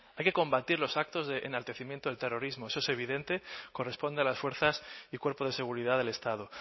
hay que combatir los actos de enaltecimiento del terrorismo eso es evidente corresponde a las fuerzas y cuerpos de seguridad del estado